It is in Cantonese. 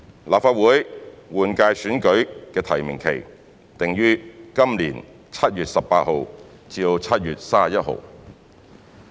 立法會換屆選舉的提名期訂於今年7月18日至7月31日。